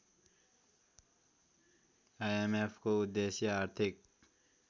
आइएमएफको उद्देश्य आर्थिक